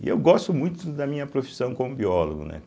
E eu gosto muito da minha profissão como biólogo, né.